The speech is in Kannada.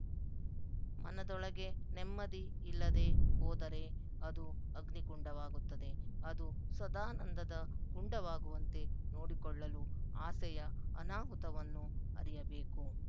ಮನದೊಳಗೆ ನೆಮ್ಮದಿ ಇಲ್ಲದೆ ಹೋದರೇ ಅದು ಅಗ್ನಿಕುಂಡವಾಗುತ್ತದೆ ಅದು ಸದಾನಂದದ ಕುಂಡವಾಗುವಂತೆ ನೋಡಿಕೊಳ್ಳಲು ಆಸೆಯ ಅನಾಹುತವನ್ನು ಅರಿಯಬೇಕು